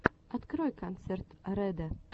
открой концерт рэдо